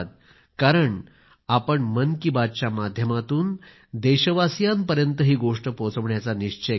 कारण की आपण मन की बातच्या माध्यमातून देशवासियां पर्यंत ही गोष्ट पोहोचवण्याचा निश्चय केलात